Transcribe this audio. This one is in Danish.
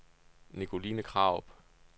Nicoline Krarup